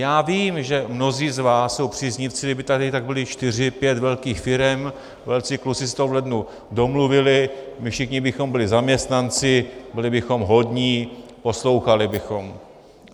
Já vím, že mnozí z vás jsou příznivci - kdyby tady tak byly čtyři, pět velkých firem, velcí kluci si to v lednu domluvili, my všichni bychom byli zaměstnanci, byli bychom hodní, poslouchali bychom.